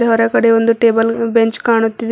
ಹೊರಗಡೆ ಒಂದು table bench ಕಾಣುತ್ತಿದೆ.